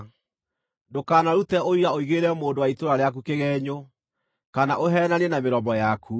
Ndũkanarute ũira ũigĩrĩre mũndũ wa itũũra rĩaku kĩgeenyo, kana ũheenanie na mĩromo yaku.